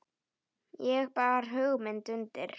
Ég bar hugmynd undir